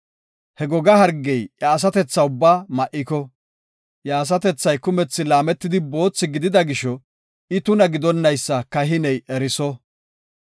He goga hargey iya asatethaa ubbaa ma7iko, iya asatethay kumethi laametidi boothi gidida gisho, I tuna gidonaysa kahiney eriso.